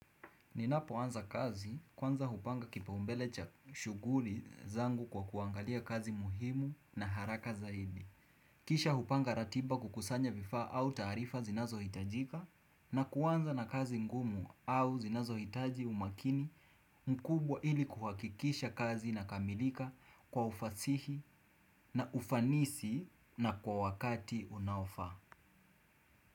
Ninapoanza kazi kwanza hupanga kipaumbele cha shughuli zangu kwa kuangalia kazi muhimu na haraka zaidi. Kisha hupanga ratiba kukusanya vifaa au taarifa zinazohitajika na kuanza na kazi ngumu au zinazohitaji umakini mkubwa ili kuhakikisha kazi inakamilika kwa ufasihi na ufanisi na kwa wakati unaofaa.